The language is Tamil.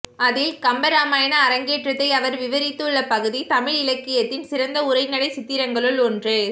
அதில் கம்பராமாயண அரங்கேற்றத்தை அவர் விவரித்துள்ள பகுதி தமிழிலக்கியத்தின் சிறந்த உரைநடைச் சித்திரங்களுள் ஒன்று